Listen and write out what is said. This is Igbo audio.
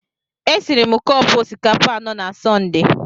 E siri m cọpu osikapa anọ na Sọnde.